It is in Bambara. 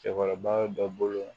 Cɛkɔrɔba dɔ bolo